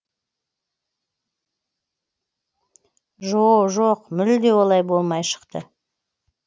жо жоқ мүлде олай болмай шықты